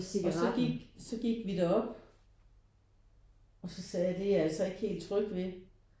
Og så gik så gik vi derop og så sagde jeg det er jeg altså ikke helt tryg ved